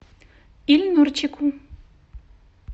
ильнурчику